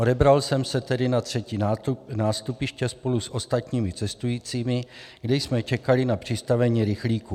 Odebral jsem se tedy na 3. nástupiště spolu s ostatními cestujícími, kde jsme čekali na přistavení rychlíku.